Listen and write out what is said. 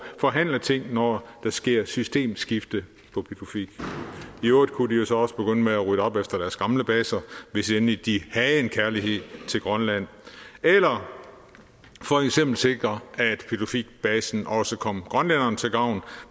forhandle ting når der sker systemskifte på pituffik i øvrigt kunne de jo så også begynde med at rydde op efter deres gamle baser hvis endelig de havde en kærlighed til grønland eller for eksempel sikre at pituffikbasen også kom grønlænderne til gavn